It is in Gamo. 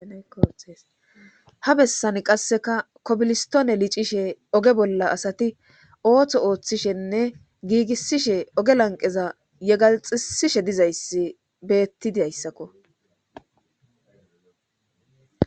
hesha bessan qasseka kobilistone licishe oge bolla asati ooththo ooththishenne giigissishe oge lanqeza yegalxisishe dizayssi beettidi hayssakko